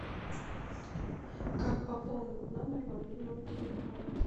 как пополнить номер мобильного телефона